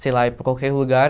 sei lá, ir para qualquer lugar.